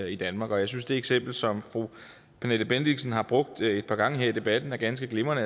i danmark jeg synes det eksempel som fru pernille bendixen har brugt et par gange her i debatten er ganske glimrende